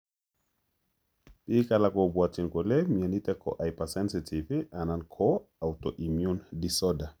Biik alak kobwatyin kole myonitok ko hypersensitive anan ko autoimmune disorder